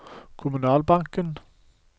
kommunalbanken